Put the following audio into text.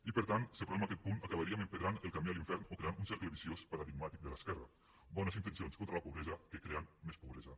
i per tant si aprovem aquest punt acabaríem empedrant el camí a l’infern o creant un cercle viciós paradigmàtic de l’esquerra bones intencions contra la pobresa que creen més pobresa